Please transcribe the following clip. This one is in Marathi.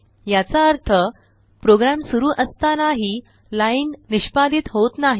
याचा अर्थ प्रोग्राम सुरू असताना ही लाइन निष्पादीत होत नाही